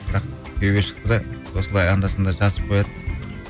бірақ күйеуге шықты да осылай анда санда жазып қояды